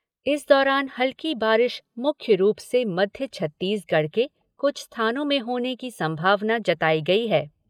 इस दौरान हल्की बारिश मुख्य रूप से मध्य छत्तीसगढ़ के कुछ स्थानों में होने की संभावना जताई गई है।